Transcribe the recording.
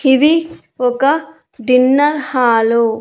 ఇది ఒక dinner hall .